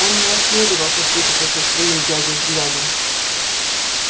он не осмеливался встретиться со своим дядей взглядом